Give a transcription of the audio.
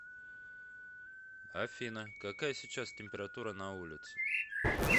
афина какая сейчас температура на улице